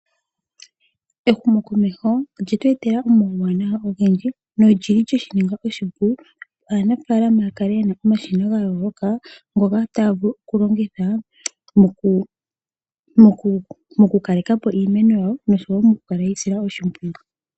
Ehumo komesho olye twetela omauwanawa ogendji no lyili lye shininga oshipu opo aanafalama yakale yena omashina gayoloka ngoka taya vulu okulongitha mo kukalekapo iimeno yawo noshowo moku kala yeyi yisila oshipwiyu.